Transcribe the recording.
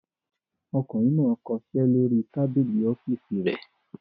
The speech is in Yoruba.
Ọkùnrin náà kọṣẹ́ lórí tábìlì ọ́fíísì rẹ̀.